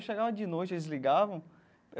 Chegava de noite, eles ligavam.